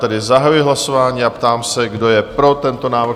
Tedy zahajuji hlasování a ptám se, kdo je pro tento návrh?